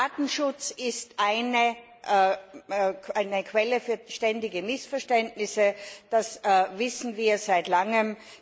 Datenschutz ist eine Quelle für ständige Missverständnisse, das wissen wir seit langem.